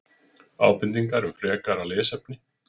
Ábendingar um frekara lesefni: